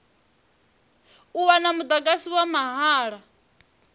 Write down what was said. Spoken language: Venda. u wana mudagasi wa mahala